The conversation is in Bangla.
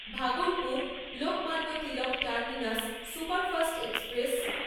Bhagalpur লোকমান্নতিলক terminus superfast express